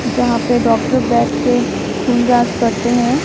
जहां पे डॉक्टर बैठ के खून जांच करते हैं।